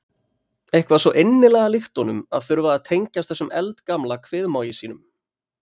Eitthvað svo innilega líkt honum að þurfa að tengjast þessum eldgamla kviðmági sínum.